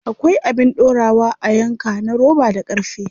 Akwai abin dorawa a yanka na roba da ƙarfe.